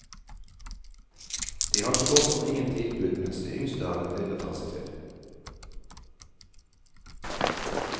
De har så godt som ingen tilbud, mens de yngste har en del å ta seg til.